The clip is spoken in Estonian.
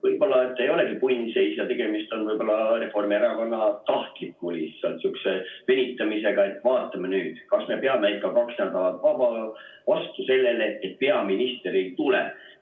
Võib-olla ei olegi punnseis ja tegemist on Reformierakonna tahtliku venitamisega, et vaatame nüüd, kas me peame ikka kaks nädalat vastu sellele, et peaminister ei tule.